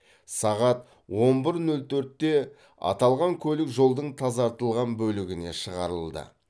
сағат он бір нөл төртте аталған көлік жолдың тазартылған бөлігіне шығарылды